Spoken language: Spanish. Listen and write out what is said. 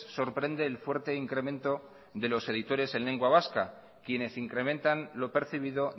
sorprende el fuerte incremento de los editores en lengua vasca quienes incrementan lo percibido